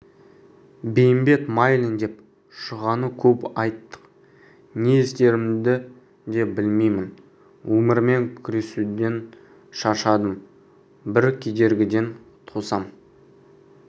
бейімбет майлин деп шұғаны көп айттық не істерімді де білмеймін өмірмен күресуден шаршадым бір кедергіден құтылсам